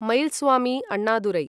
Mylswamy Annadurai